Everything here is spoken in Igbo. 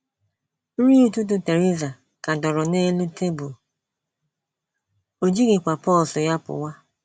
Nri ụtụtụ Theresa ka dọrọ n’elu tebụl, o jighịkwa pọọsụ ya pụwa.